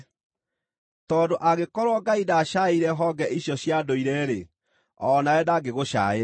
Tondũ angĩkorwo Ngai ndaacaĩire honge icio cia ndũire-rĩ, o nawe ndangĩgũcaĩra.